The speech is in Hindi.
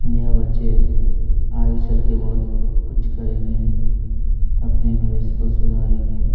यह बच्चे आगे चलके बहोत कुछ करेंगे अपने भविष्य को सुधारेंगे--